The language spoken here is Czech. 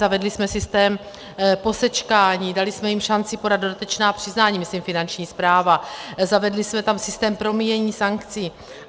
Zavedli jsme systém posečkání, dali jsme jim šanci podat dodatečná přiznání, myslím Finanční správa, zavedli jsme tam systém promíjení sankcí.